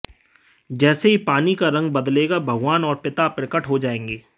जैसे ही पानी का रंग बदलेगा भगवान और पिता प्रकट हो जाएंगे